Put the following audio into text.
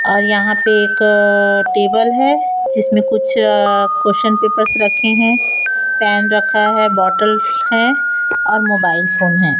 और यहां पे एक टेबल है जिसमें कुछ क्वेश्चन पेपर्स रखे हैं पेन रखा है बॉटल हैं और मोबाइल फोन है।